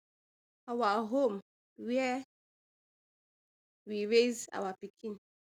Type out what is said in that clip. our home wia we raise our pikin